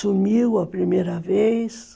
Sumiu a primeira vez.